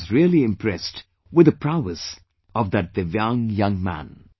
I was really impressed with the prowess of that divyang young man